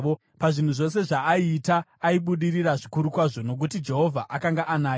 Pazvinhu zvose zvaaiita aibudirira zvikuru kwazvo, nokuti Jehovha akanga anaye.